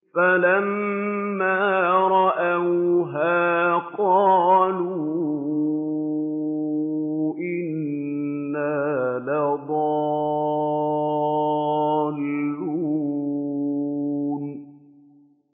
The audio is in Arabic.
فَلَمَّا رَأَوْهَا قَالُوا إِنَّا لَضَالُّونَ